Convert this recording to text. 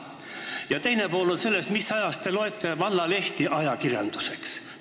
Ja teine pool on see: mis ajast te peate vallalehti ajakirjanduseks?